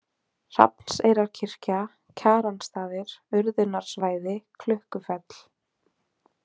Hrafnseyrarkirkja, Kjaranstaðir, Urðunarsvæði, Klukkufell